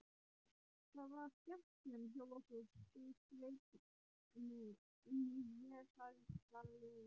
Það var skemmtun hjá okkur, skaut Svenni inn í vesældarlega.